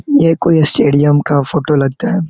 ये कोई a stadium का फोटो लगता है ।